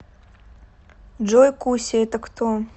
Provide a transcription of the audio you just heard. джой куся это кто